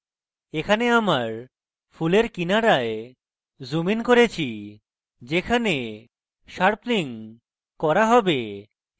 এখানে আমার ফুলের কিনারায় zoomed ইন করেছি যেখানে sharpening করা have